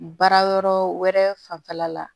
Baara yɔrɔ wɛrɛ fanfɛla la